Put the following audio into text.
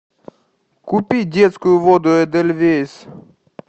купи детскую воду эдельвейс